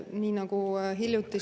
Nii nagu hiljuti …